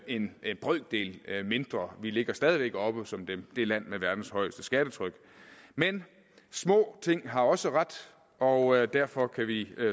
en en brøkdel mindre vi ligger stadig væk oppe som det det land med verdens højeste skattetryk men små ting har også ret og derfor kan vi